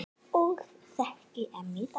Og þekki enn í dag.